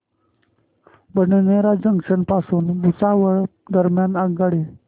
Badnera junction पासून भुसावळ दरम्यान आगगाडी